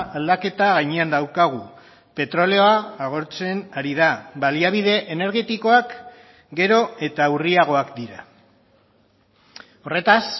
aldaketa gainean daukagu petrolioa agortzen ari da baliabide energetikoak gero eta urriagoak dira horretaz